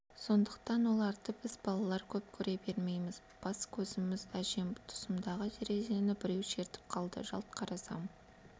сондықтан оларды біз балалар көп кере бермейміз бас-көзіміз әжем тұсымдағы терезені біреу шертіп қалды жалт қарасам